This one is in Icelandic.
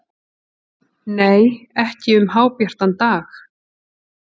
Nei, ekki um hábjartan dag.